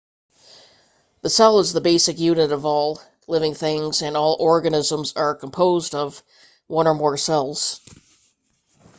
the cell is the basic unit of all living things and all organisms are composed of one or more cells